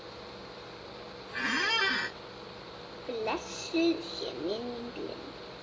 Blessuð sé minning Lindu.